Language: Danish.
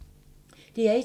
DR1